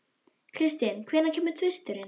Kristin, hvenær kemur tvisturinn?